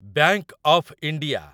bank of India